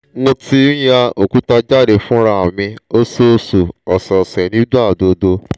mo ti n ya okuta jade funra mi - oṣooṣu osese - nigbagbogbo